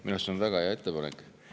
Minu arust on see väga hea ettepanek.